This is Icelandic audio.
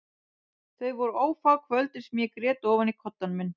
Þau voru ófá kvöldin sem ég grét ofan í koddann minn.